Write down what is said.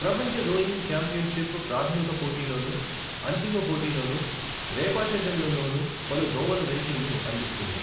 ప్రపంచ rowing championship ప్రాధమిక పోటీలోనూ, అంతిమ పోటీలోనూ, రేపాషజ్లలోనూ పలు దోవల రేసింగ్ను అందిస్తుంది.